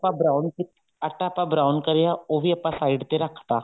brown ਆਟਾ ਆਪਾਂ brown ਕਰਿਆ ਉਹ ਵੀ ਆਪਾਂ side ਤੇ ਰੱਖ ਤਾਂ